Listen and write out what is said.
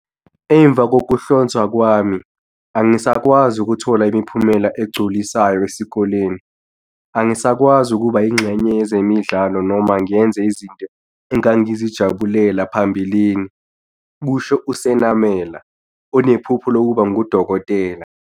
"Emva kokuhlonzwa kwami, angisakwazi ukuthola imiphumela egculisayo esikoleni. Angisakwazi ukuba yingxenye yezemidlalo noma ngenze izinto engangizijabulela phambilini," kusho uSenamela, onephupho lokuba ngudokotela.